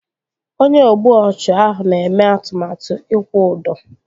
Onye ogbu ọchụ ahụ na-eme atụmatụ ịkwụ ụdọ